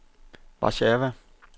Warszawa